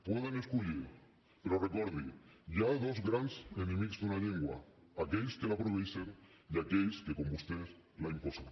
poden escollir però recordi hi ha dos grans enemics d’una llengua aquells que la prohibeixen i aquells que com vostès la imposen